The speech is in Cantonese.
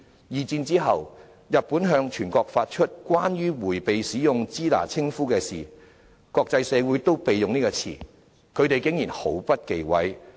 二戰後，日本向全國發出《關於迴避使用支那稱呼之事宜》，國際社會都避用這個詞，他們竟然毫不忌諱。